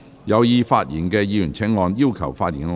有意發言的議員請按"要求發言"按鈕。